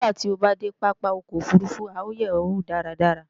Nígbàtí o bá dé pápá ọkọ̀ òfurufú à ó yè ó wò dáradára